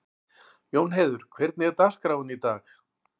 Jónheiður, hvernig er dagskráin í dag?